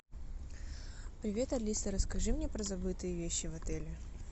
привет алиса расскажи мне про забытые вещи в отеле